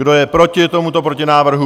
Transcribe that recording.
Kdo je proti tomuto protinávrhu?